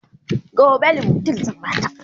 gobe limotyl zan Bata